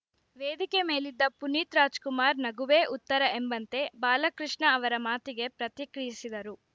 ವೇದಿಕೆ ಮೇಲಿದ್ದ ಪುನೀತ್‌ ರಾಜ್‌ಕುಮಾರ್‌ ನಗುವೇ ಉತ್ತರ ಎಂಬಂತೆ ಬಾಲಕೃಷ್ಣ ಅವರ ಮಾತಿಗೆ ಪ್ರತಿಕ್ರಿಯಿಸಿದರು